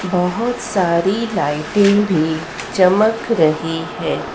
बहोत सारी लाइटे भी चमक रही है।